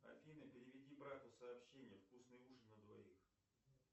афина переведи брату сообщение вкусный ужин на двоих